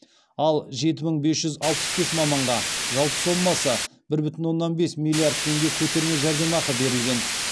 ал жеті мың бес жүз алпыс бес маманға жалпы сомасы бір бүтін оннан бес миллиард теңге көтерме жәрдемақы берілген